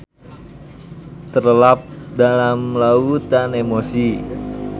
Terlelap dalam lautan emosi.